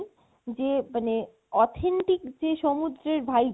যে মানে authentic যে সমুদ্রের vibe